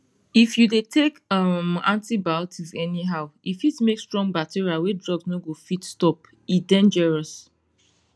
if you dey take um antibiotics anyhow e fit make strong bacteria wey drugs no go fit stop e dangerous